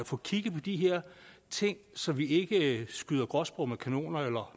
få kigget på de her ting så vi ikke skyder gråspurve med kanoner eller